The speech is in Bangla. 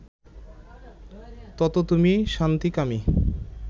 তত তুমি শান্তিকামী